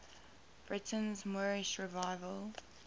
britain's moorish revival